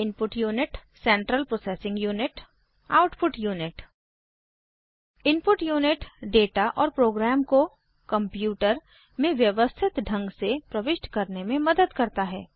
input unit central processing unit output unit input unit data और program को computer में व्यवस्थित ढंग से प्रविष्ट करने में मदद करता है